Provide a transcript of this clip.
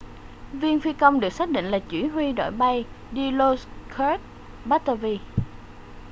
viên phi công được xác định là chỉ huy đội bay dilokrit pattavee